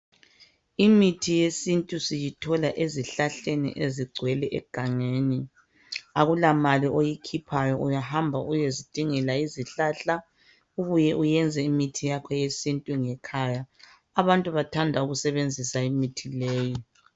Imithi yesintu siyithola ezihlahleni ezigcwele egangeni. Akulamali oyikhiphayo uyahamba uyezidingela izihlahla ubuye uyenze imithi yakho ngekhaya, abantu bathanda ukusebenzisa imithi leyi.